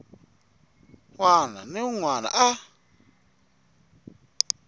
wana ni un wana a